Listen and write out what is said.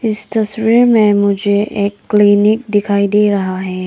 इस तस्वीर में मुझे एक क्लीनिक दिखाई दे रहा है।